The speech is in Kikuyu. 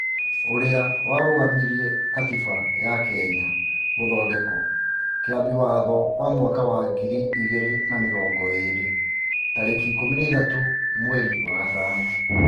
ũrĩa warũgamirie Katiba ya Kenya (Gũthondekwo) Kĩambi watho wa mwaka wa ngiri igĩrĩ na mĩrongo ĩrĩ , mweri ikũmi na ithatũ mweri wa Mĩĩ,